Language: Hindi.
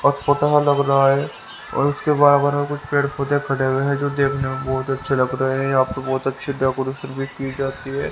अटपटा मतलब और उसके बराबर कुछ पेड़ पौधे खड़े हुए हैं जो देखने में बहुत अच्छे लग रहे हैं यहां पर बहुत अच्छी डेकोरेशन भी की जाती है।